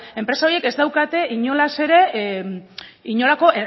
enpresa horiek ez daukate inolaz ere inolako